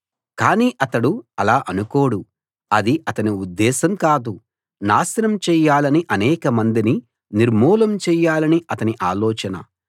కాని అతడు ఆలా అనుకోడు అది అతని ఉద్దేశం కాదు నాశనం చెయ్యాలనీ అనేకమందిని నిర్మూలం చెయ్యాలనీ అతని ఆలోచన